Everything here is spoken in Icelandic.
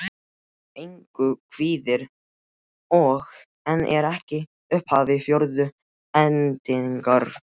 Engu kvíðir. og en er ekki í upphafi fjórðu hendingar.